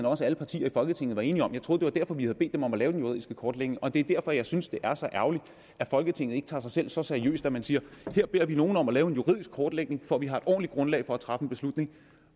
også at alle partier i folketinget var enige om jeg troede det var derfor vi havde bedt dem om at lave den juridiske kortlægning og det er derfor jeg synes det er så ærgerligt at folketinget ikke tager sig selv så seriøst at man siger her beder vi nogen om at lave en juridisk kortlægning for at vi har et ordentligt grundlag at træffe en beslutning